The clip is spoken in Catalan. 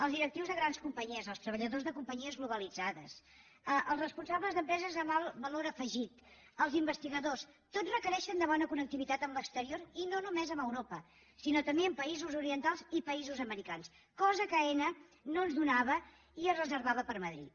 els directius de grans companyies els treballadors de companyies globalitzades els responsables d’empreses amb alt valor afegit els investigadors tots requereixen bona connectivitat amb l’exterior i no només amb europa sinó també amb països orientals i països americans cosa que aena no ens donava i es reservava per madrid